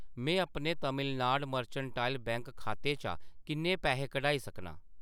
मैं अपने Tamil Nadu mercantile bank खाते चा किन्ने पैहे कढाई सकनां ?